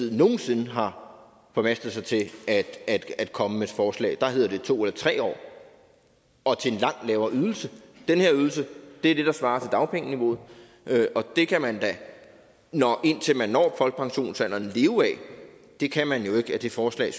nogen sinde har formastet sig til at at komme med forslag om der hedder det to eller tre år og til en langt lavere ydelse den her ydelse er det der svarer til dagpengeniveauet og det kan man da indtil man når folkepensionsalderen leve af det kan man jo ikke af det forslag